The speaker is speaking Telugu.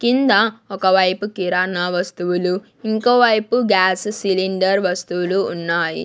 కింద ఒకవైపు కిరాణా వస్తువులు ఇంకో వైపు గ్యాస్ సిలిండర్ వస్తువులు ఉన్నాయి.